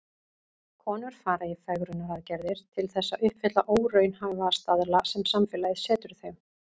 Konur fara í fegrunaraðgerðir til þess að uppfylla óraunhæfa staðla sem samfélagið setur þeim.